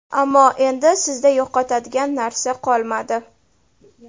Ammo, endi sizda yo‘qotadigan narsa qolmadi.